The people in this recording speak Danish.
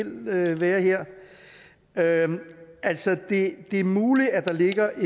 være her altså det er muligt at der ligger